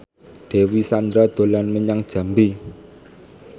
Dewi Sandra dolan menyang Jambi